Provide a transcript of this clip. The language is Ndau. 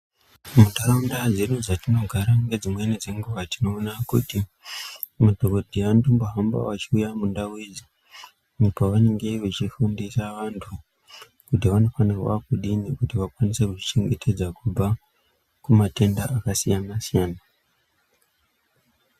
Muntaraunda dzedu dzatinogara ngedzimweni dzenguwa tinoona kuti madhokodheya anotombohamba achiuya mundau idzi apo vanenge vachifundisavantu kuti vanofanirwa kudini kuti vakwanise kuzvichengetedza kubva kumatenda akasiyana siyana.